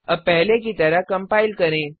अब पहले की तरह कम्पाइल करें